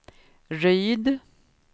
Ryd